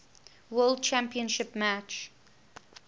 world championship match